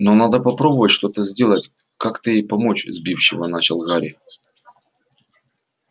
но надо попробовать что-то сделать как-то ей помочь сбивчиво начал гарри